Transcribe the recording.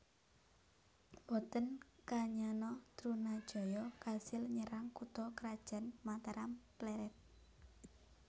Mboten kanyana Trunajaya kasil nyerang kutha krajan Mataram Plered